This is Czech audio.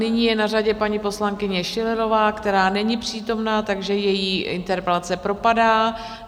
Nyní je na řadě paní poslankyně Schillerová, která není přítomna, takže její interpelace propadá.